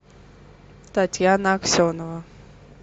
татьяна аксенова